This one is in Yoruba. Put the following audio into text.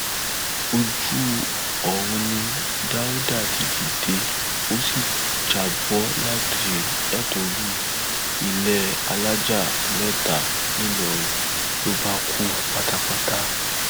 ojú oorun ni dáùdà ti dìde ó sì já bọ látorí ilé alájà mẹta ńìlọrin ló bá kú pátápátá